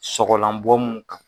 Sɔgɔlan bɔ mun Kan.